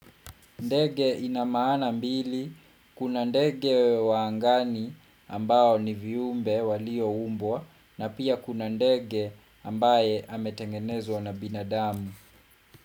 Ndege ina maana mbili, kuna ndege wa angani ambao ni viumbe walioumbwa na pia kuna ndege ambaye ametengenezwa na binadamu.